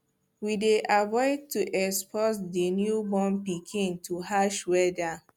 we dey avoid to expose the new born pikin to harsh weather